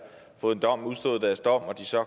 fået en dom udstået deres dom